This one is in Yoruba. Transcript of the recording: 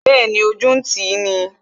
Bẹẹni, ojú ń tì i